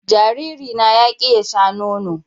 Jariri na ya ƙi ya Sha nono.